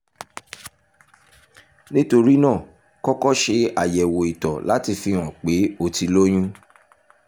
nítorí náà kọ́kọ́ ṣe àyẹ̀wò ìtọ̀ láti fihàn pé o ti lóyún